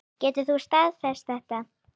Getur þú staðfest þetta?